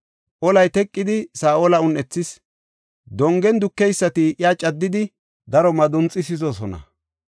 Olay teqidi Saa7ola un7ethis; dongen dukeysati iya caddidi daro madunxisidosona.